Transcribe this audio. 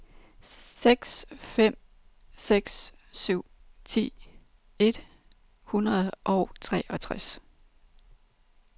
seks fem seks syv ti et hundrede og treogtres